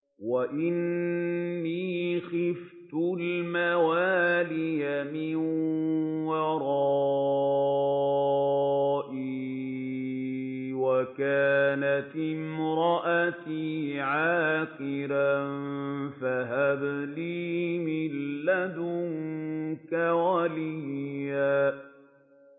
وَإِنِّي خِفْتُ الْمَوَالِيَ مِن وَرَائِي وَكَانَتِ امْرَأَتِي عَاقِرًا فَهَبْ لِي مِن لَّدُنكَ وَلِيًّا